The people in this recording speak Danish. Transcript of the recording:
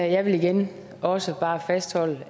jeg vil igen også bare fastholde